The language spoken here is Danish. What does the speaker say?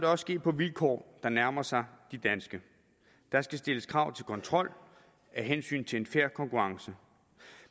også ske på vilkår der nærmer sig de danske der skal stilles krav til kontrol af hensyn til en fair konkurrence